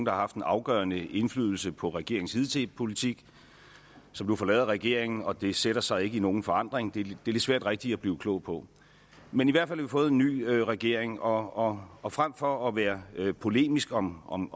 har haft en afgørende indflydelse på regeringens hidtidige politik som nu forlader regeringen og det sætter sig ikke i nogen forandring det er lidt svært rigtigt at blive klog på men i hvert fald har vi fået en ny regering og og frem for at være polemisk om om